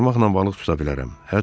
Qaramaqla balıq tuta bilərəm.